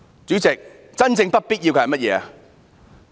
主席，真正不必要的是甚麼？